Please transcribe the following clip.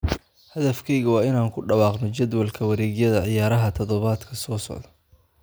"Hadafkayagu waa inaan ku dhawaaqno jadwalka wareegyada ciyaaraha toddobaadka soo socda."